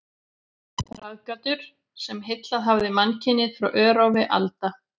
Ráðgátur, sem heillað hafa mannkynið frá örófi alda.